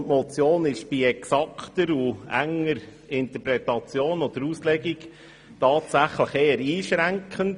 Die Motion ist bei enger und exakter Interpretation oder Auslegung tatsächlich eher einschränkend.